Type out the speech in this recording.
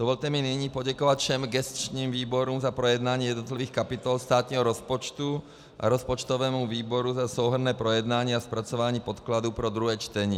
Dovolte mi nyní poděkovat všem gesčním výborům za projednání jednotlivých kapitol státního rozpočtu a rozpočtovému výboru za souhrnné projednání a zpracování podkladů pro druhé čtení.